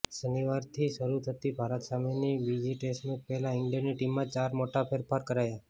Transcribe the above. શનિવારથી શરૂ થતી ભારત સામેની બીજી ટેસ્ટ મેચ પહેલા ઈંગ્લેન્ડની ટીમમાં ચાર મોટા ફેરફાર કરાયા